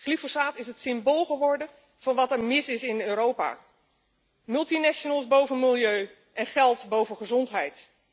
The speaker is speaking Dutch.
Glyfosaat is het symbool geworden van wat er mis is in Europa multinationals boven milieu en geld boven gezondheid.